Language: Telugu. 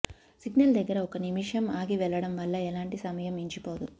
సిగ్నల్ దగ్గర ఒక్క నిమిషం ఆగి వెళ్లడం వల్ల ఎలాంటి సమయం మించిపోదు